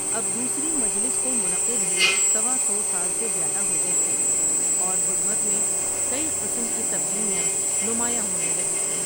اب دوسری مجلس کو منعقد ہوئے سوا سو سال سے زیادہ ہو گئے تھے اور بدھ مت میں کئی قسم کی تبدیلیاں نمایاں ہونے لگی تھیں ۔